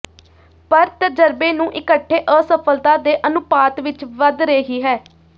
ਪਰ ਤਜਰਬੇ ਨੂੰ ਇਕੱਠੇ ਅਸਫਲਤਾ ਦੇ ਅਨੁਪਾਤ ਵਿੱਚ ਵਧ ਰਹੀ ਹੈ